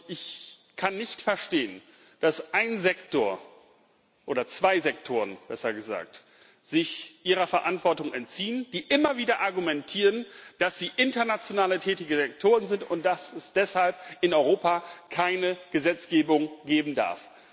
Ich kann nicht verstehen, dass zwei Sektoren sich ihrer Verantwortung entziehen, die immer wieder argumentieren, dass sie international tätige Sektoren sind und dass es deshalb in Europa keine Gesetzgebung geben darf.